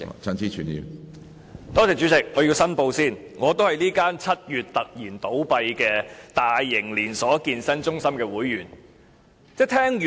主席，我要申報，我也是這間於7月突然倒閉的大型連鎖健身中心的會員。